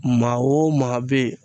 Maa o maa bɛ yen